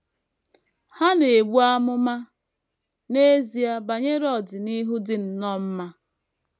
Ha na - ebu amụma n’ezie banyere ọdịnihu dị nnọọ mma.